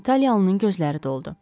İtaliyalının gözləri doldu.